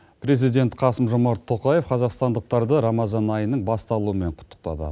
президент қасым жомарт тоқаев қазақстандықтарды рамазан айының басталуымен құттықтады